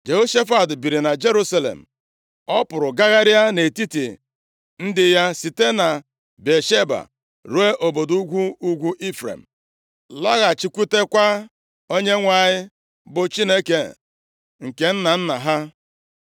Jehoshafat biri na Jerusalem. Ọ pụrụ gagharịa nʼetiti ndị ya site na Bịasheba ruo nʼobodo ugwu ugwu Ifrem, laghachikwutekwa Onyenwe anyị, bụ Chineke nke nna nna ha.